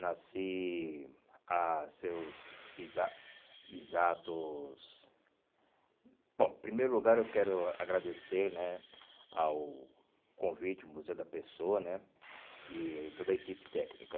Nasci a seus exa exatos... Bom, em primeiro lugar, eu quero agradecer né ao convite, ao Museu da Pessoa né e toda a equipe técnica.